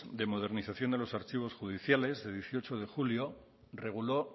de modernización de los archivos judiciales del dieciocho de julio reguló